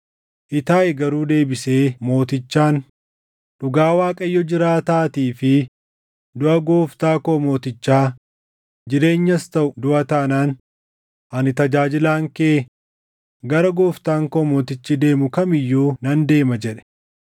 Itaayi garuu deebisee mootichaan, “Dhugaa Waaqayyo jiraataatii fi duʼa gooftaa koo mootichaa, jireenyas taʼu duʼa taanaan ani tajaajilaan kee gara gooftaan koo mootichi deemu kam iyyuu nan deema” jedhe.